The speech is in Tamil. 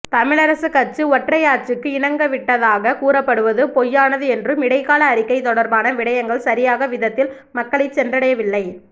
தமிழரசுக் கட்சி ஒற்றையாட்சிக்கு இணங்கவிட்டதாக கூறப்படுவது பொய்யானது என்றும் இடைக்கால அறிக்கை தொடர்பான விடயங்கள் சரியாக விதத்தில் மக்களை சென்றடையவில்லை